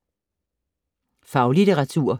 Faglitteratur